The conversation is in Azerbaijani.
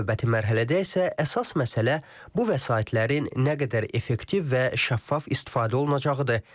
Növbəti mərhələdə isə əsas məsələ bu vəsaitlərin nə qədər effektiv və şəffaf istifadə olunacağıdır.